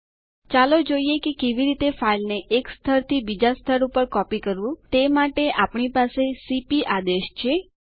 બતાવેલ આદેશો ચલાવવા માટે તમારી પાસે એડમીન એક્સેસ હોવો જરૂરી છે